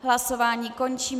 Hlasování končím.